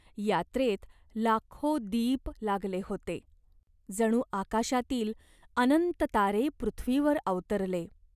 यात्रेत लाखो दीप लागले होते. जणू आकाशातील अनंत तारे पृथ्वीवर अवतरले.